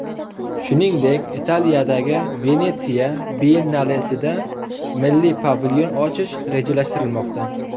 Shuningdek, Italiyadagi Venetsiya biyennalesida milliy pavilyon ochish rejalashtirilmoqda.